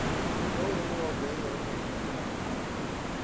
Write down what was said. Ũndũ ũyũ nĩwongereire rũmena gatagatĩ ka ateti